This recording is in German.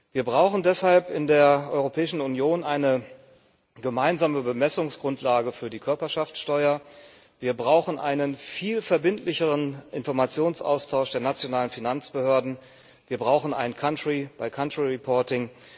Wir brauchen deshalb in der Europäischen Union eine gemeinsame Bemessungsgrundlage für die Körperschaftssteuer, wir brauchen einen viel verbindlicheren Informationsaustausch der nationalen Finanzbehörden, wir brauchen ein country by country reporting